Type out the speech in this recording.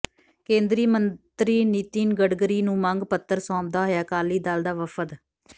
ਕੇਂਦਰੀ ਮੰਤਰੀ ਨਿਤਿਨ ਗਡਕਰੀ ਨੂੰ ਮੰਗ ਪੱਤਰ ਸੌਂਪਦਾ ਹੋਇਆ ਅਕਾਲੀ ਦਲ ਦਾ ਵਫ਼ਦ